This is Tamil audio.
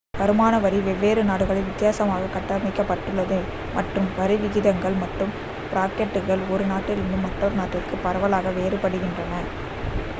வருமான வரி வெவ்வேறு நாடுகளில் வித்தியாசமாக கட்டமைக்கப்பட்டுள்ளது மற்றும் வரி விகிதங்கள் மற்றும் பிராக்கெட்டுகள் ஒரு நாட்டிலிருந்து மற்றொரு நாட்டிற்கு பரவலாக வேறுபடுகின்றன